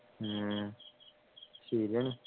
ഉം ശരിയാണ്